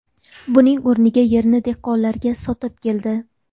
Buning o‘rniga yerni dehqonlarga sotib keldi.